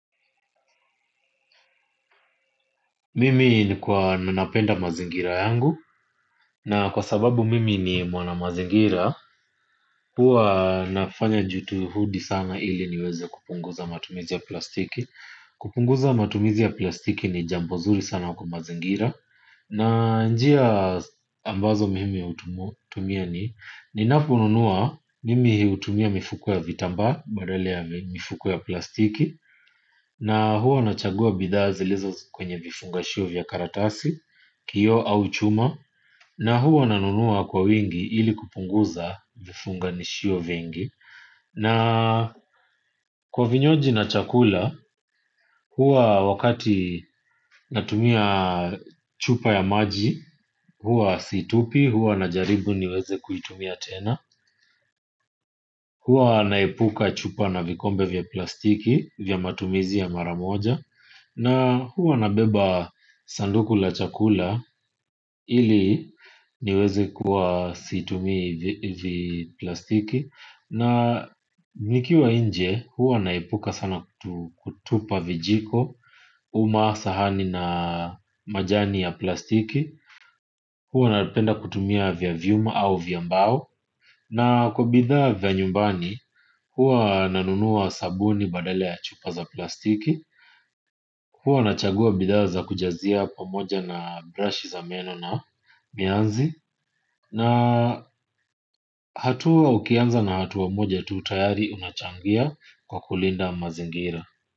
Mimi ni kwa napenda mazingira yangu. Na kwa sababu mimi ni mwana mazingira. Huwa nafanya juhudi sana ili niweze kupunguza matumizi ya plastiki. Kupunguza matumizi ya plastiki ni jambo nzuri sana kwa mazingira. Na njia ambazo mimi hutumia ni ninaponunua mimi hutumia mifuko ya vitambaa. Badala ya mifuko ya plastiki. Na huwa nachagua bidhaa zilizo kwenye vifungashio vya karatasi kioo au chuma. Na huwa nanunua kwa wingi ili kupunguza vifunganishio vingi. Na kwa vinyoji na chakula huwa wakati natumia chupa ya maji. Huwa situpi, huwa najaribu niweze kuitumia tena. Huwa naepuka chupa na vikombe vya plastiki vya matumizi ya mara moja na huwa nabeba sanduku la chakula ili niweze kuwa situmii viplastiki na nikiwa nje huwa naepuka sana kutupa vijiko uma sahani na majani ya plastiki huwa napenda kutumia vya vyuma au vya mbao na kwa bidhaa za nyumbani huwa nanunua sabuni badala ya chupa za plastiki huwa nachagua bidhaa za kujazia pamoja na brush za meno na mianzi. Na hatua ukianza na hatua moja tu tayari unachangia kwa kulinda mazingira.